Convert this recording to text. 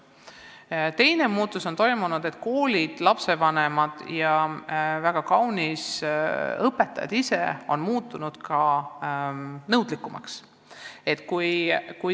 Ja ka teine muutus on toimunud: lapsevanemad ja õpetajad ise on muutunud nõudlikumaks.